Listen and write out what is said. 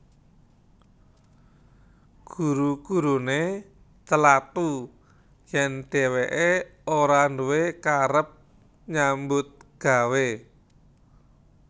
Guru guruné celathu yèn dhèwèké ora nduwé karep nyambut gawé